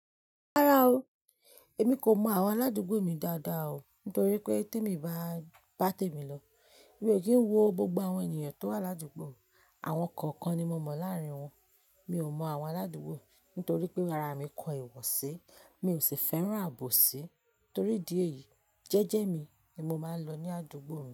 Rárá o, èmi kò mọ àwọn aládùúgbò mi dáadáa o nítorí pé tíè mi bá tèmi lọ. Mi o kin wo gbogbo àwọn ènìyàn tó wà ládùúgbò, àwọn kọ̀ọ̀kan ni mo mọ láàrín wọn. Mi ò mọ àwọn aládùúgbò nítorí pé ara mi kọ ìwọ̀ sí, mi ò sì fẹ́ràn àbòsí torí idi eyìí, jẹ́jẹ́ mi ni mo máa ń lọ ní àdúgbò mi.